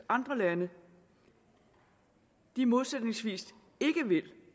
andre lande modsætningsvis ikke vil